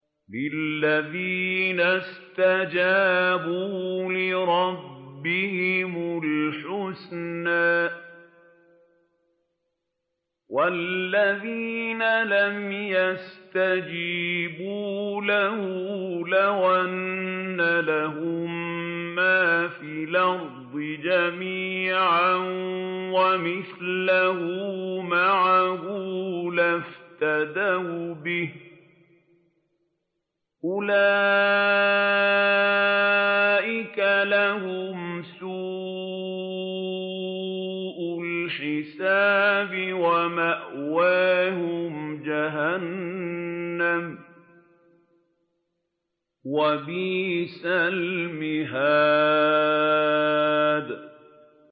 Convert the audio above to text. لِلَّذِينَ اسْتَجَابُوا لِرَبِّهِمُ الْحُسْنَىٰ ۚ وَالَّذِينَ لَمْ يَسْتَجِيبُوا لَهُ لَوْ أَنَّ لَهُم مَّا فِي الْأَرْضِ جَمِيعًا وَمِثْلَهُ مَعَهُ لَافْتَدَوْا بِهِ ۚ أُولَٰئِكَ لَهُمْ سُوءُ الْحِسَابِ وَمَأْوَاهُمْ جَهَنَّمُ ۖ وَبِئْسَ الْمِهَادُ